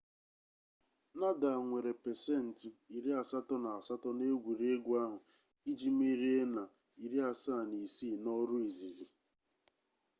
nadal nwere 88% n'egwuregwu ahụ iji merie na 76 n'ọrụ izizi